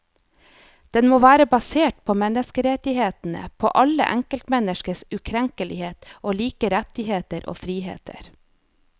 Den må være basert på menneskerettighetene, på alle enkeltmenneskers ukrenkelighet og like rettigheter og friheter.